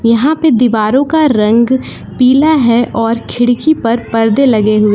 यहां पे दीवारो का रंग पीला है और खिड़की पर परदे लगे हुए--